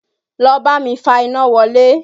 Lọ bámi fa iná wọlé!